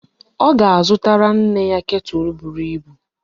Ọ ga-azụtara nne ya ketụl buru ibu.